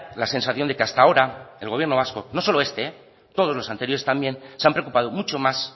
la sensación de que hasta ahora el gobierno vasco no solo este todos los anteriores también se han preocupado mucho más